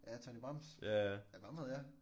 Ja Tonny Brems? Ja ham havde jeg